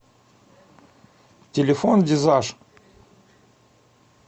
телефон дизаж